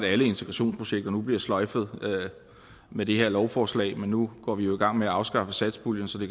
at alle integrationsprojekter nu bliver sløjfet med det her lovforslag men nu går vi jo i gang med at afskaffe satspuljen så det